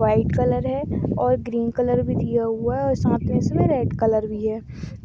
white colour है और green colour भी दिया हुआ है और साथ मैं इसमें रेड कलर भी है